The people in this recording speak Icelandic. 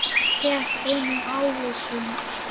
Rétti honum ávísun.